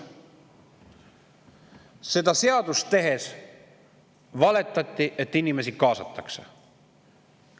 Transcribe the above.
" Seda seadust tehes valetati, et inimesi kaasatakse.